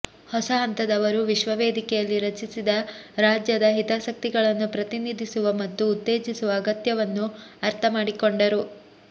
ಹೊಸ ಹಂತದವರು ವಿಶ್ವ ವೇದಿಕೆಯಲ್ಲಿ ರಚಿಸಿದ ರಾಜ್ಯದ ಹಿತಾಸಕ್ತಿಗಳನ್ನು ಪ್ರತಿನಿಧಿಸುವ ಮತ್ತು ಉತ್ತೇಜಿಸುವ ಅಗತ್ಯವನ್ನು ಅರ್ಥಮಾಡಿಕೊಂಡರು